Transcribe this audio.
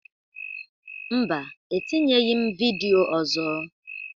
Mba, etinyeghi m vidịo ọzọ.